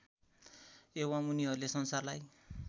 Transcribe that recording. एवम् उनीहरूले संसारलाई